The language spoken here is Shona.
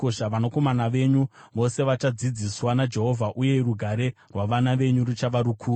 Vanakomana venyu vose vachadzidziswa naJehovha, uye rugare rwavana venyu ruchava rukuru.